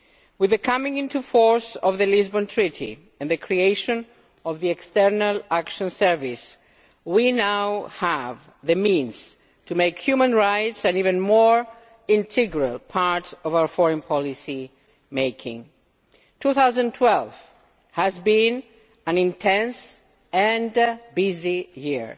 With the coming into force of the Lisbon Treaty and the creation of the External Action Service, we now have the means to make human rights an even more integral part of our foreign policy making. 2012 has been an intense and busy year.